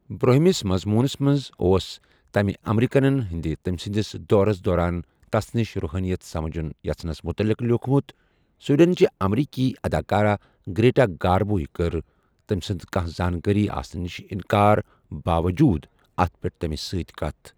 برُٚہنمِس مضموُنس منز ،اوس تمہِ امریکنن ہٕندِ ، تمِسٕندِس دورس دوران ،تس نِش رُحٲنِیت سمجھُن یژھنس مُتعلق لِیوُکھمُت ،سویڈنٕچہِ امریکی اداکارہ گریٹا گاربو یہِ کٕر ، تمہِ سٕندِ کانہہ زانکٲری آسنہٕ نِشہِ اِنکار باوجوُد ،اتھ پیٹھ تمِس سۭتۍ کتھ ۔